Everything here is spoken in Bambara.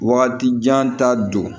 Wagati jan ta don